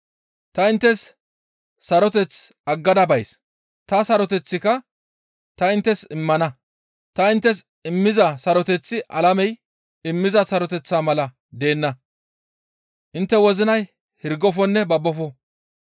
«Ta inttes saroteth aggada bays; ta saroteththika ta inttes immana; ta inttes immiza saroteththi alamey immiza saroteththa mala deenna; intte wozinay hirgofonne babbofo.